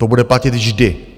To bude platit vždy.